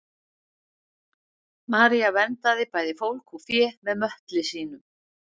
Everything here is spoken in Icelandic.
maría verndaði bæði fólk og fé með möttli sínum